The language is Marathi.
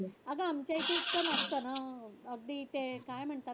अगं आमच्या इथं इतकं नसतं ना. अगदी ते काय म्हणतात?